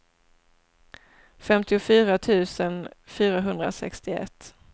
femtiofyra tusen fyrahundrasextioett